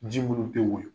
Ji munnu te woyo